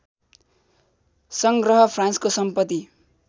सङ्ग्रह फ्रान्सको सम्पत्ति